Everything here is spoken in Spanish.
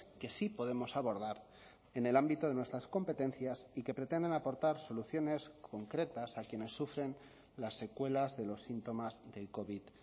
que sí podemos abordar en el ámbito de nuestras competencias y que pretenden aportar soluciones concretas a quienes sufren las secuelas de los síntomas del covid